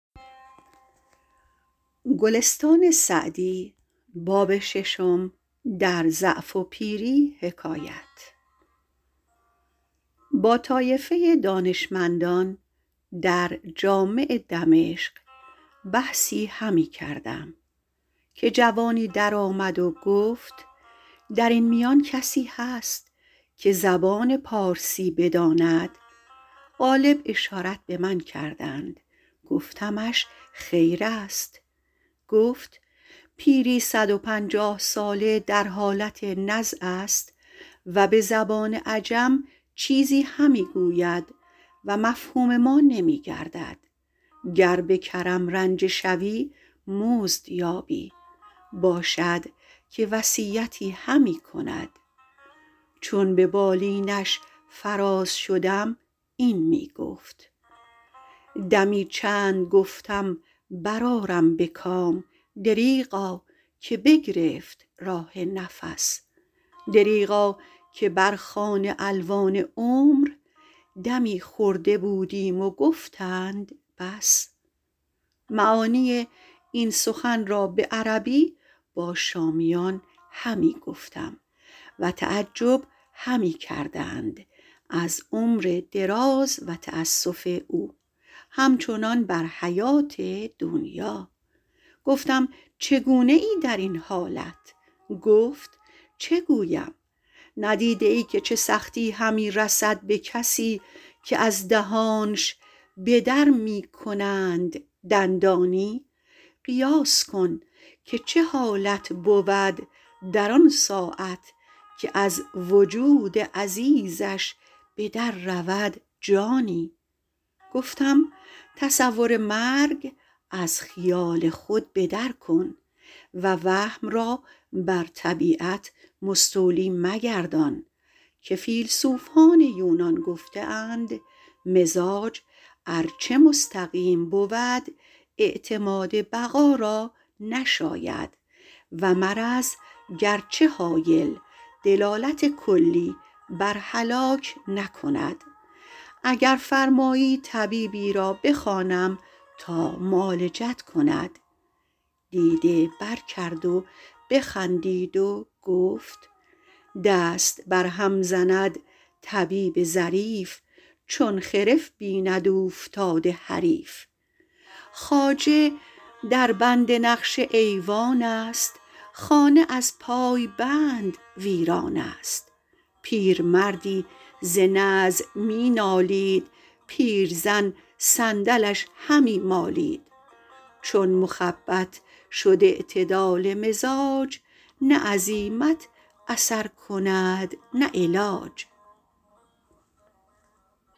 با طایفه دانشمندان در جامع دمشق بحثی همی کردم که جوانی در آمد و گفت در این میان کسی هست که زبان پارسی بداند غالب اشارت به من کردند گفتمش خیر است گفت پیری صد و پنجاه ساله در حالت نزع است و به زبان عجم چیزی همی گوید و مفهوم ما نمی گردد گر به کرم رنجه شوی مزد یابی باشد که وصیتی همی کند چون به بالینش فراز شدم این می گفت دمی چند گفتم بر آرم به کام دریغا که بگرفت راه نفس دریغا که بر خوان الوان عمر دمی خورده بودیم و گفتند بس معانی این سخن را به عربی با شامیان همی گفتم و تعجب همی کردند از عمر دراز و تأسف او همچنان بر حیات دنیا گفتم چگونه ای در این حالت گفت چه گویم ندیده ای که چه سختی همی رسد به کسی که از دهانش به در می کنند دندانی قیاس کن که چه حالت بود در آن ساعت که از وجود عزیزش به در رود جانی گفتم تصور مرگ از خیال خود به در کن و وهم را بر طبیعت مستولی مگردان که فیلسوفان یونان گفته اند مزاج ار چه مستقیم بود اعتماد بقا را نشاید و مرض گرچه هایل دلالت کلی بر هلاک نکند اگر فرمایی طبیبی را بخوانم تا معالجت کند دیده بر کرد و بخندید و گفت دست بر هم زند طبیب ظریف چون خرف بیند اوفتاده حریف خواجه در بند نقش ایوان است خانه از پایبند ویران است پیرمردی ز نزع می نالید پیرزن صندلش همی مالید چون مخبط شد اعتدال مزاج نه عزیمت اثر کند نه علاج